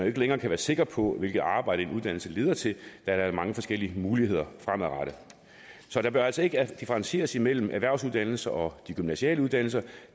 ikke længere kan være sikker på hvilket arbejde en uddannelse leder til da der er mange forskellige muligheder fremadrettet så der bør altså ikke differentieres imellem erhvervsuddannelser og de gymnasiale uddannelser da